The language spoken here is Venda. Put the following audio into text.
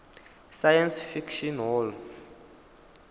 science fiction hall